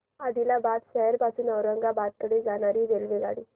आदिलाबाद शहर पासून औरंगाबाद कडे जाणारी रेल्वेगाडी